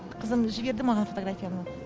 қызым жіберді маған фотографияны